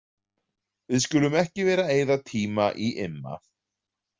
Við skulum ekki vera að eyða tíma í Imma.